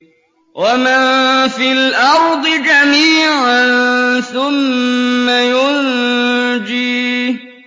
وَمَن فِي الْأَرْضِ جَمِيعًا ثُمَّ يُنجِيهِ